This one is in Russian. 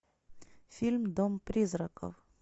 фильм дом призраков